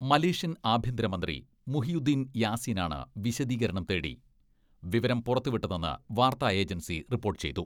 Malaysian ആഭ്യന്തരമന്ത്രി Muhyiddin Yassin ആണ് വിശദീകരണം തേടി വിവരം പുറത്തുവിട്ടതെന്ന് വാർത്താ ഏജൻസി റിപ്പോട്ട് ചെയ്തു.